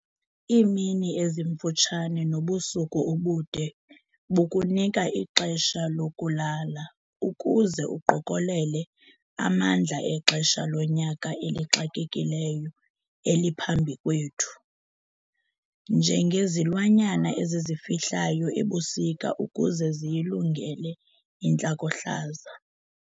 Iimini ezimfutshane nobusuku obude bukunika ixesha lokulala ukuze uqokelele amandla exesha lonyaka elixakekileyo eliphambi kwethu -njengezilwanyana ezizifihlayo ebusika ukuze ziyilungele intlakohlaza.